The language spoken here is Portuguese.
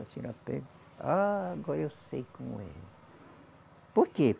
A senhora pega, ah agora eu sei como é. Por quê?